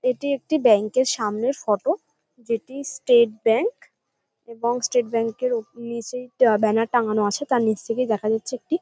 এটি একটি ব্যাংক এর সামনের ফটো যেটি একটি স্টেট ব্যাংক এবং স্টেট ব্যাংক এর ওপ নিচেই টা ব্যানার টাঙ্গানো আছে। তার নিচেই দেখা যাচ্ছে একটি--